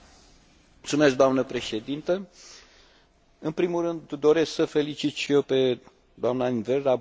În primul rând, doresc să o felicit și eu pe doamna in 't Veld, raportoarea noastră, pentru deosebita muncă depusă.